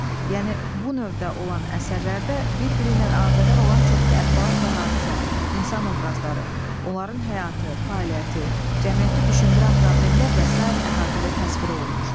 Yəni bu növdə olan əsərlərdə bir-biri ilə əlaqədar olan çoxlu əhvalat və hadisə, insan obrazları, onların həyatı, fəaliyyəti, cəmiyyəti düşündürən problemlər və sair əhatəli təsvir olunur.